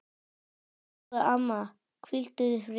Elsku amma, hvíldu í friði.